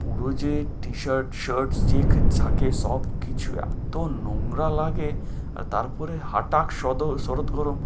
পুরো যে t-shirt shirt যে~ যা কিছু থাকে সবকিছু এত নোংরা লাগে, আর তারপরেও হটাক সাদর~ শরৎ গরম